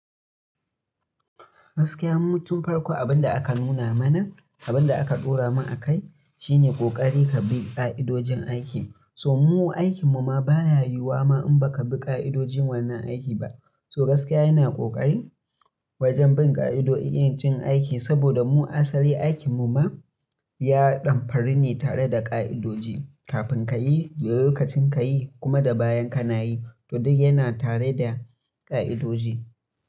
Gaskiya, mu tun farko abin da aka nuna mana, abin da aka ɗora mana a kai, shine ƙoƙari ka bi ƙa'idojin aiki. So mu aikin mu ma baya yiwuwa ma in baka bi ƙa'idojin wannan aiki ba. So gaskiya yana ƙoƙari wajen bin ƙa'idojin aiki, saboda mu asali aikin mu ma, ya ɗan fari ne tare da ƙa'idoji. Kafin ka yi, lokacin ka yi kuma da bayan kana yi, duk yana tare da ƙa'idoji.